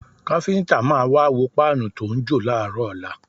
Káfíńtà máa wá wo páànù tó ń jò láàárọ̀ ọ̀la